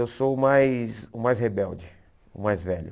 Eu sou o mais o mais rebelde, o mais velho.